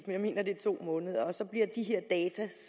jeg mener det er to måneder og så bliver de